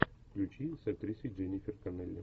включи с актрисой дженнифер коннелли